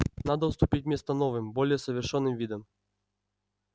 надо уступить место новым более совершенным видам